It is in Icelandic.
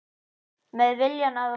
Með viljann að vopni